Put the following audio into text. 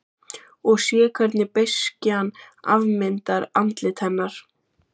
Og sé hvernig beiskjan afmyndar andlit hennar.